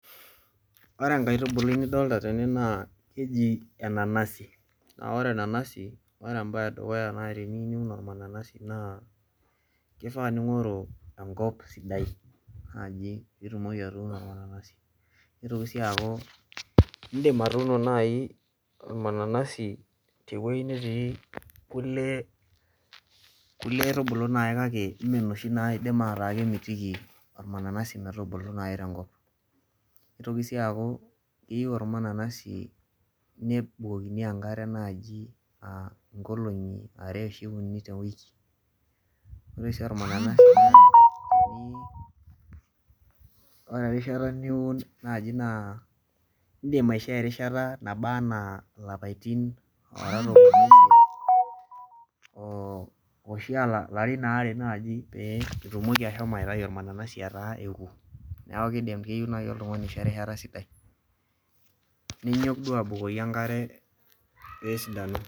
Ore enkaitubukui nidolita tene naa keji enanasi naa ore embae edukuya naai tenining' olmananasi naa kifaa ningoru engop sidai naji pitumoki atuuno mananasi nitoki sii aaku in'dim atuuno nai olmananasi tewei netii kule kulie aitubu kake meenoshi naaidim ataa metubuku tiatua enkop Nitoki sii aaku eyieu olmananasi nebulokini enkare ingolongi uni anaa are tewiki Ore oshi olmananasi Ore erishata niwun naaji naa in'dim aisho erishata naba enaa ilapaitin tomon oisiet ashu alarin aare naaji pee itumoki aitayu olmananasi etaa eoku niaku isho erishata sidai Ninyok duo abukoki enkare sidai